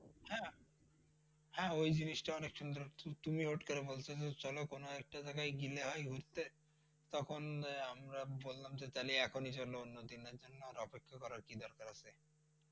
হ্যাঁ, হ্যাঁ ঐ জিনিসটা অনেক সুন্দর ছিল। তুমি হুট করে বলছো যে চলো কোন একটা জায়গায় গিলে হয় ঘুরতে। তখন আহ আমরা বললাম যে, তাহলে এখনি চলো। তাহলে অন্য দিনের জন্য অপেক্ষা করার কি দরকার আছে?